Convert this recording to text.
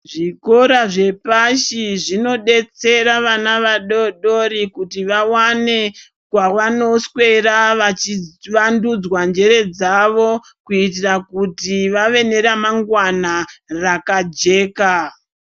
Zvikora zvepashi zvinodetsera vana vadoodori kuti vawane kwavanoswera vachivandudzwa njere dzavo kuitira kuti vave neramangwana rakajeka.